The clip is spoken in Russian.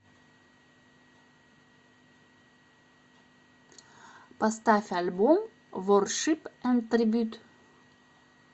поставь альбом воршип энд трибьют